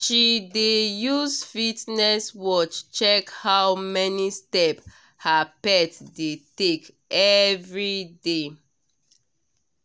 she dey use fitness watch check how many step her pet dey take everyday.